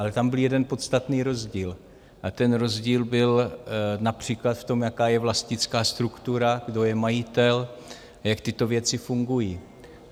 Ale tam byl jeden podstatný rozdíl a ten rozdíl byl například v tom, jaká je vlastnická struktura, kdo je majitel, jak tyto věci fungují.